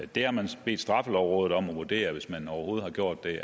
det har man så bedt straffelovrådet om at vurdere hvis man overhovedet har gjort det